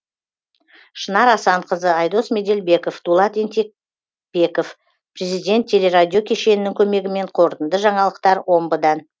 шынар асанқызы айдос меделбеков дулат ентебеков президент телерадио кешенінің көмегімен қорытынды жаңалықтар омбыдан